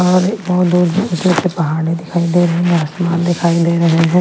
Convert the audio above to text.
और बहुत दूर से पहाड़ी दिखाई दे रही है आसमान दिखाई दे रहे हैं।